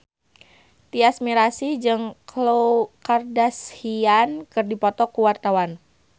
Tyas Mirasih jeung Khloe Kardashian keur dipoto ku wartawan